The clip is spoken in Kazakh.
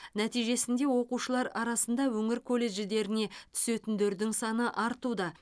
нәтижесінде оқушылар арасында өңір колледждеріне түсетіндердің саны артуда